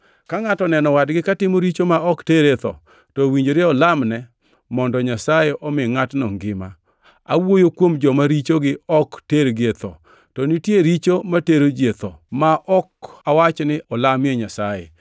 Ka ngʼato oneno wadgi katimo richo ma ok tere e tho, to owinjore olamne mondo Nyasaye omi ngʼatno ngima. Awuoyo kuom joma richogi ok tergi e tho. To nitie richo matero ji e tho; ma ok awach ni olamie Nyasaye.